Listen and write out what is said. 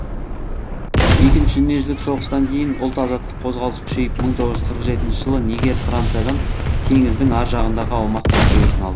дүниежүзілік соғыстан кейін ұлт азаттық қозғалысы күшейіп мың тоғыз жүз қырық жетінші жылы нигер франциядан теңіздің ар жағындағы аумақ мәртебесін алды